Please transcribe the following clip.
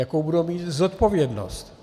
Jakou budou mít zodpovědnost?